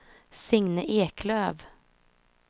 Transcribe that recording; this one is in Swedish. Signe Eklöf